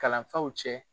Kalanfaw cɛ